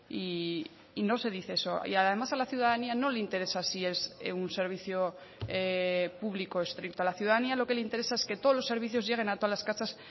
y no se dice eso y además a la ciudadanía no le interesa si es un servicio público estricto a la ciudadanía lo que le interesa es que todos los servicios lleguen a todas las casas